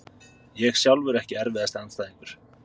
ég sjálfur Ekki erfiðasti andstæðingur?